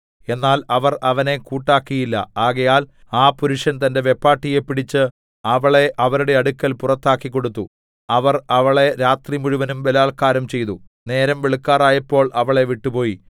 എന്നാൽ അവർ അവനെ കൂട്ടാക്കിയില്ല ആകയാൽ ആ പുരുഷൻ തന്റെ വെപ്പാട്ടിയെ പിടിച്ച് അവളെ അവരുടെ അടുക്കൽ പുറത്താക്കിക്കൊടുത്തു അവർ അവളെ രാത്രിമുഴുവനും ബലാല്ക്കാരം ചെയ്തു നേരം വെളുക്കാറായപ്പോൾ അവളെ വിട്ടുപോയി